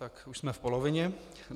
Tak, už jsme v polovině.